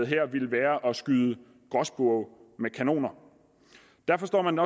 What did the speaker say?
her ville være at skyde gråspurve med kanoner derfor står man